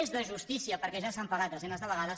és de justícia perquè ja s’han pagat desenes de vegades